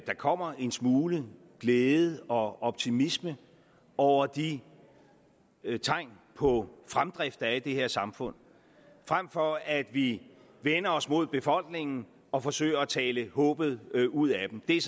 der kommer en smule glæde og optimisme over de tegn på fremdrift der er i det her samfund frem for at vi vender os mod befolkningen og forsøger at tale håbet ud af dem det er